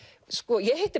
ég hitti